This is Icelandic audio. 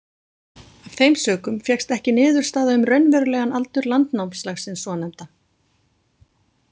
Af þeim sökum fékkst ekki niðurstaða um raunverulegan aldur landnámslagsins svonefnda.